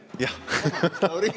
Jah!